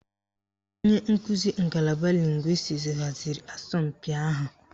Onye nkuzi ngalaba lịngwịstis haziri asọmpi ahụ.